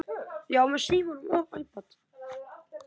Já og aftur já.